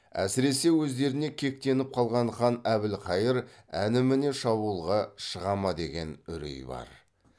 әсіресе өздеріне кектеніп қалған хан әбілхайыр әне міне шабуылға шыға ма деген үрей бар